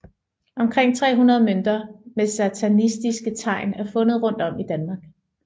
Omkring 300 mønter med sataniske tegn er fundet rundt om i Danmark